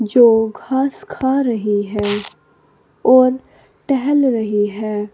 जो घास खा रही है और टहल रही है।